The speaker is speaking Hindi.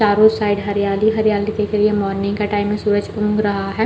चारो साइड हरियाली-हरियाली दिख रही है मॉर्निंग का टाइम है सूरज भी ऊग रहा है।